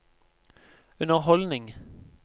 underholdning